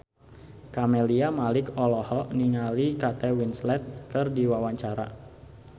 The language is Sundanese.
Camelia Malik olohok ningali Kate Winslet keur diwawancara